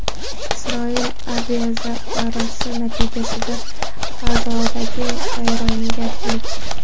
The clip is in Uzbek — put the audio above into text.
Isroil aviazarbasi natijasida G‘azodagi vayronagarchilik.